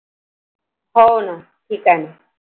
हो ना ठीक आहे ना